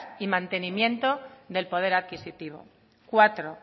y mantenimiento del poder adquisitivo cuatro